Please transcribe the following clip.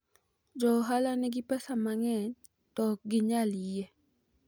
joohala nigi pesa mang'eny to ok ginyal yie